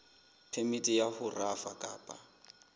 phemiti ya ho rafa kapa